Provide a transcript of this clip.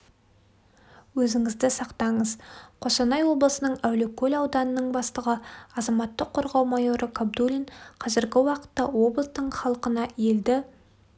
өзіңізді сақтаңыз қостанай облысының әулиекөл ауданының бастығы азаматтық қорғау майоры кабдуллин казіргі уақытта облыстың халықына елді